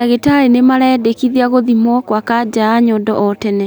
Mandagitari nĩmaraendekithia gũthimwo kwa kanja ya nyondo o tene.